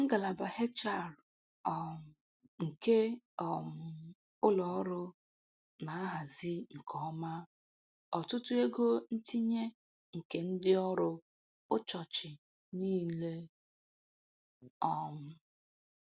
Ngalaba HR um nke um ụlọ ọrụ na-ahazi nke ọma, ọtụtụ ego ntinye nke ndị ọrụ ụchọchị niile. um